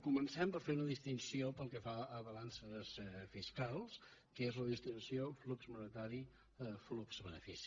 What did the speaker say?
comencem per fer una distinció pel que fa a ba·lances fiscals que és la distinció flux monetari flux benefici